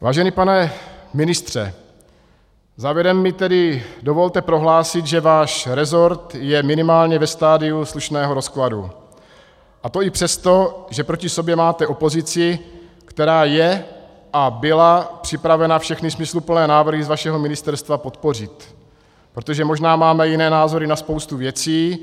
Vážený pane ministře, závěrem mi tedy dovolte prohlásit, že váš resort je minimálně ve stadiu slušného rozkladu, a to i přesto, že proti sobě máte opozici, která je a byla připravena všechny smysluplné návrhy z vašeho ministerstva podpořit, protože možná máme jiné názory na spoustu věcí,